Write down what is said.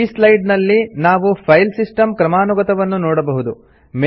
ಈ ಸ್ಲೈಡ್ ನಲ್ಲಿ ನಾವು ಫೈಲ್ ಸಿಸ್ಟಮ್ ಕ್ರಮಾನುಗತವನ್ನು ನೋಡಬಹುದು